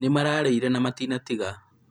nĩmararĩire na matinatiga